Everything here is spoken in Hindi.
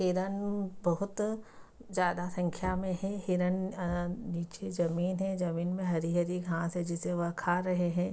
हिरन बहुत ज्यादा संख्या में है हिरन अ नीचे जमीन है जमीन में हरी-हरी घास हैं जिसे वह खा रहे हैं।